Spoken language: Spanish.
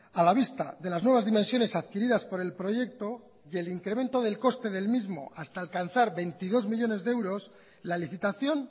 a la vista de las nuevas dimensiones adquiridas por el proyecto y el incremento del coste del mismo hasta alcanzar veintidós millónes de euros la licitación